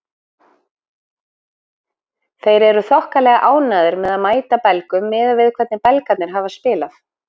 Þeir eru þokkalega ánægðir með að mæta Belgum miðað við hvernig Belgarnir hafa spilað.